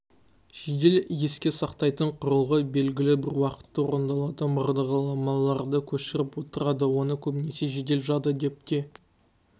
жедел еске сақтайтын құрылғы белгілі бір уақытта орындалатын бағдарламаларды көшіріп отырады оны көбінесе жедел жады деп те